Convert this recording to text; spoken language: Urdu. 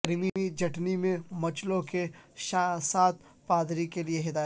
کریمی چٹنی میں مچلوں کے ساتھ پادری کے لئے ہدایت